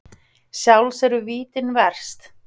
Sjálfs eru vítin verst.